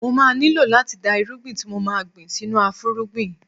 Mo má nílò láti da irúgbìn tí mo ma gbìn sínú afúrúgbìn.